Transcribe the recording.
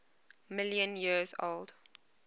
million years old